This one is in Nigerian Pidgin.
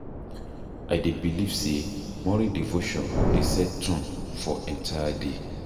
I dey believe say morning devotion dey set tone for entire day.